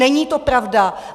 Není to pravda.